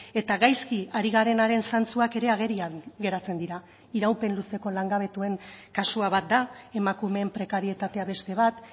eta gaizki ari garenaren zantzuak ere agerian geratzen dira iraupen luzeko langabetuen kasua bat da emakumeen prekarietatea beste bat